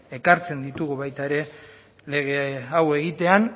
ekartzen ditugu baita ere lege hau egitea